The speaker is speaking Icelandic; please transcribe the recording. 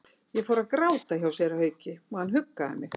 Ég fór að gráta hjá séra Hauki og hann huggaði mig.